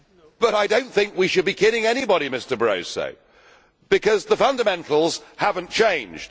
But I do not think we should be kidding anybody, Mr Barroso, because the fundamentals have not changed.